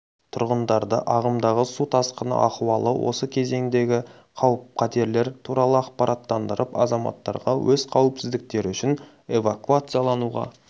тұрғындарды ағымдағы су тасқыны ахуалы осы кезеңдегі қауіп-қатерлер туралы ақпараттандырып азаматтарға өз қауіпсіздіктері үшін эвакуациялануға